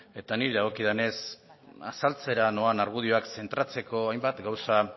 eta niri dagokidanez azaltzera noan argudioak zentratzeko hainbat gauza